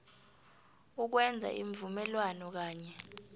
ukwenza iimvumelwano kanye